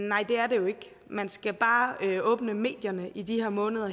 nej det er det jo ikke man skal bare åbne medierne i de her måneder